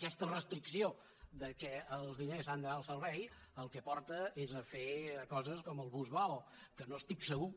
aquesta restricció que els diners han d’anar al servei al que porta és a fer coses com el bus vao que no estic segur